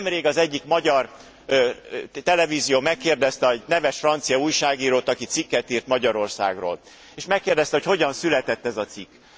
Nemrég az egyik magyar televízió megkérdezte a neves francia újságírót, aki cikket írt Magyarországról, és megkérdezte, hogy hogyan született ez a cikk.